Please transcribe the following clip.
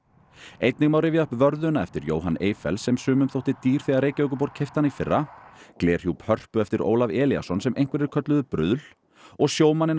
einnig má rifja upp vörðuna eftir Jóhann Eyfells sem sumum þótti dýr þegar Reykjavíkurborg keypti hana í fyrra glerhjúp Hörpu eftir Ólaf Elíasson sem einhverjir kölluðu bruðl og sjómanninn